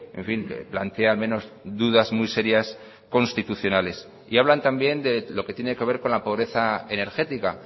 en fin plantea al menos dudas muy serias constitucionales y hablan también de lo que tiene que ver con la pobreza energética